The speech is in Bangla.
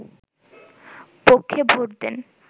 পক্ষে ভোট দেন